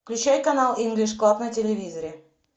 включай канал инглиш клаб на телевизоре